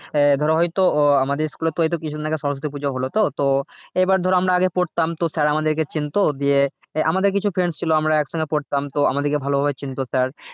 আহ ধরো হয়তো আহ আমাদের school এ এইতো কিছুদিন আগে সরস্বতী পুজো হলো তো এবার ধরো আমরা আগে করতাম তো sir আমাদেরকে চিনতো দিয়ে আমাদের কিছু friends ছিল আমরা এক সঙ্গে পড়তাম তো আমাদেরকে ভালো ভাবে চিনতো sir